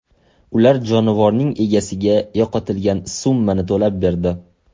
Ular jonivorning egasiga yo‘qotilgan summani to‘lab berdi.